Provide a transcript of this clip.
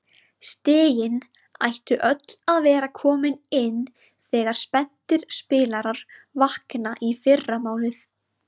Stigin ættu öll að vera komin inn þegar spenntir spilarar vakna í fyrramálið.